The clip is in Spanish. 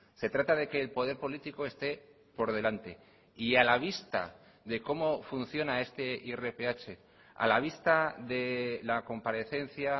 se trata de que el poder político esté por delante y a la vista de como funciona este irph a la vista de la comparecencia